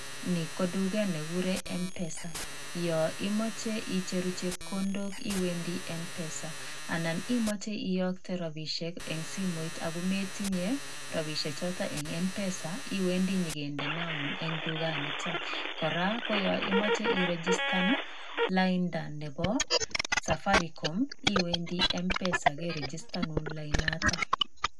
Nii ko duket nekikuren MPESA yon imoche ichjeruu chekondok iwendii MPESA anan imoche iyokte rabishe en simoit ako metinyee rabishek choton en MPESA iwendii nyokindenoun en dukan niton koraa yon imoche ii registern laida nebo safaricom iwendii MPESA kerigistonun lainda noton.